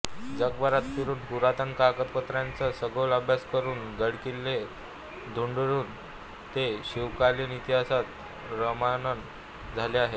जगभरात फिरून पुरातन कागदपत्रांचा सखोल अभ्यास करून गडकिल्ले धुंडाळून ते शिवकालीन इतिहासात रममाण झाले होते